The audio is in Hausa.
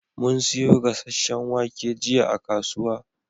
Mun siyo gasashen wake jiya a kasuwa